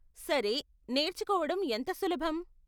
సరే, నేర్చుకోవడం ఎంత సులభం?